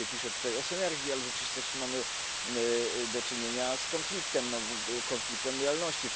Oczywiście pisze tutaj o synergii, ale w rzeczywistości mamy do czynienia z konfliktem, z konfliktem lojalności.